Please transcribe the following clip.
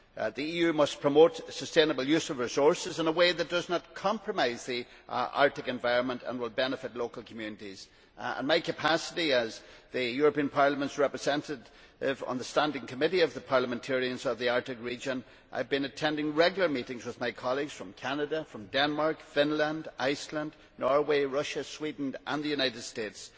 The EU must promote sustainable use of resources in a way that does not compromise the Arctic environment and will benefit local communities. In my capacity as the European Parliament's representative on the standing committee of the parliamentarians of the Arctic region, I have been attending regular meetings with my colleagues from Canada, Denmark, Finland, Iceland, Norway, Russia, Sweden and the United States.